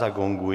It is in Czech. Zagonguji.